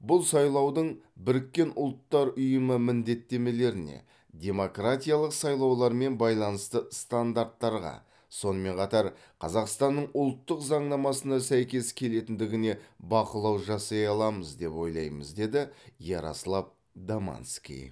бұл сайлаудың біріккен ұлттар ұйымы міндеттемелеріне демократиялық сайлаулармен байланысты стандарттарға сонымен қатар қазақстанның ұлттық заңнамасына сәйкес келетіндігіне бақылау жасай аламыз деп ойлаймыз деді ярослав домански